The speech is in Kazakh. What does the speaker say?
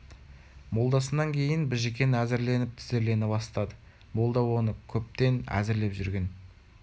молдасынан кейін біжікен әзірленіп тізерлене бастады молда оны көптен әзірлеп жүрген